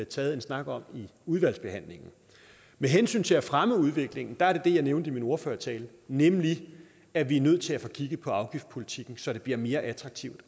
taget en snak om i udvalgsbehandlingen med hensyn til at fremme udviklingen var det det jeg nævnte i min ordførertale nemlig at vi er nødt til at få kigget på afgiftspolitikken så det bliver mere attraktivt